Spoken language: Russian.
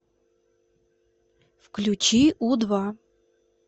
включи у два